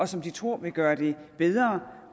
som de tror vil gøre det bedre